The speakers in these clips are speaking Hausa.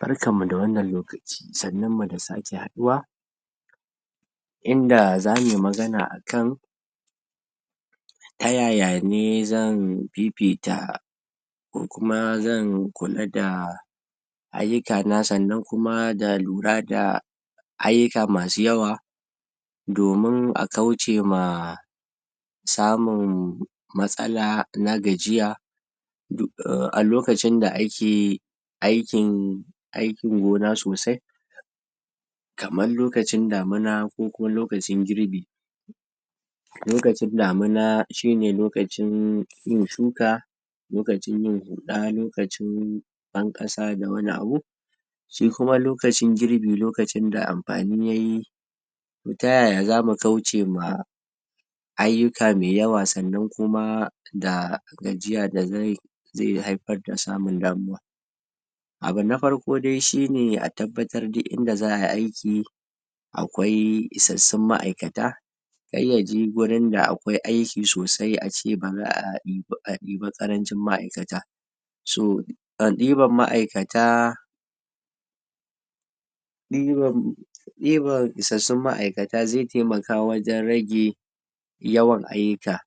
Barkanmu da wannan lokaci, sannunmu da sake haɗuwa in da za mu yi magana akan ta yaya ne zan fifita ko kuma zan kula da ayyukana sannan kuma da lura da ayyuka masu yawa domin a kauce ma samun matsala na gajiya a lokacin da ake aikin aikin gona sosai kaman lokacin damuna ko kuma lokacin girbi. A lokacin damuna shine lokacin yin shuka lokacin yin huda lokacin banƙasa da wani abu. Shi kuma lokacin girbi lokacinda amfani yayi ta yaya zamu kauce ma ayyuka mai yawa sannan kuma da gajiya da ze da ze haifar da samun damuwa. Abu na farko dai shine a tabbatar duk inda za ay i aiki akwai isassun ma'aikata kar yaje gurin da akwai aiki sosai a ce ba za a ibi a ibi ƙarancin ma'aikata. So a ɗiban ma'aikata ɗiban isassun ma'aikata ze taimaka wajen rage yawan ayyuka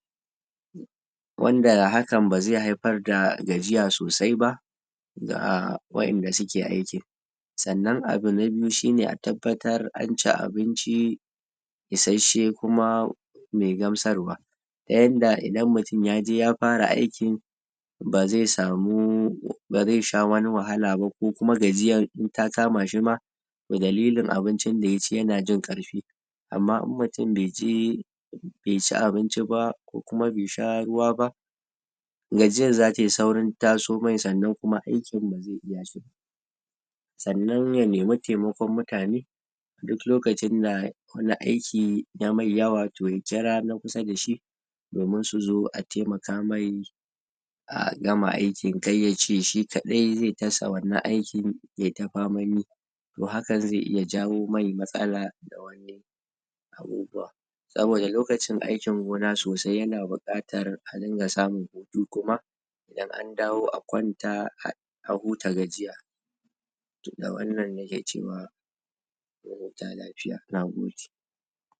wanda hakan ba ze haifar da gajiya sosai ba ga wa'inda suke aikin. Sannan abu na biyu shine a tabbatar an ci abinci isasshe kuma mai gamsarwa yanda idan mutum yaje ya fara aiki ba ze samu baz e Sha wani wahala ba kokuma gajiya in ta kamashi ma toh dalilin abincinda yaci yana jin karfi amma in mutum be ci be ci abunci ba kokuma be sha ruwa ba gajiyar za ta yi saurin tasomai sannan kuma aikin ba ze iya sosai ba. Sannan ya nemi taimakon mutane duk lokacin da ya kula aiki yamai yawa toh ya kira na kusa dashi domin su zo a taimaka mai a gama aikin kayyace shi ƙadai zai ta sa wannan aikin yai ta faman yi. Toh hakan zai iya jawo mai matsala saboda lokacin aikin gona sosai yana buƙkatan a ringa samun hutu kuma idan an dawo a kwanta a huta gajiya. da wannan nake cewa mu huta lafiya. Nagode